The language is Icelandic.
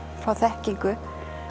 fá þekkingu